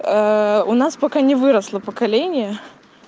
у нас пока не выросло поколение